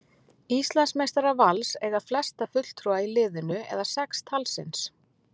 Íslandsmeistarar Vals eiga flesta fulltrúa í liðinu eða sex talsins.